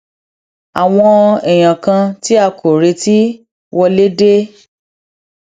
àwọn èèyàn kan tí a kò retí um wọlé dé